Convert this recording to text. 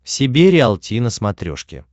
себе риалти на смотрешке